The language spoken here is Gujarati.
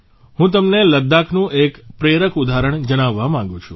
હું તમને લદ્દાખનું એક પ્રેરક ઉદાહરણ જણાવવા માગું છું